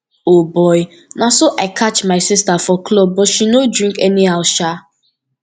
o boy na so i catch my sister for club but she no drink anyhow sha